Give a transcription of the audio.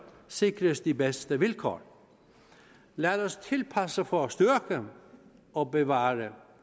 sikres de bedste vilkår lad os tilpasse for at styrke og bevare